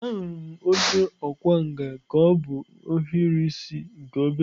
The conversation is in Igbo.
Ahụrụ m onye ọkwá nkà ka o bu ohiri isi nke obere.